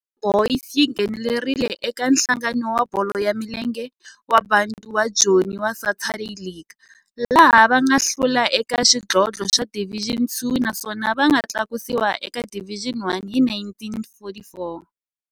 Orlando Boys yi nghenelerile eka Nhlangano wa Bolo ya Milenge wa Bantu wa Joni wa Saturday League, laha va nga hlula eka xidlodlo xa Division Two naswona va nga tlakusiwa eka Division One hi 1944.